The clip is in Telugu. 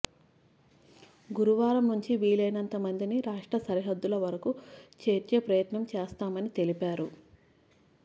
గురువారం నుంచి వీలైనంత మందిని రాష్ట్ర సరిహద్దుల వరకు చేర్చే ప్రయత్నం చేస్తామని తెలిపారు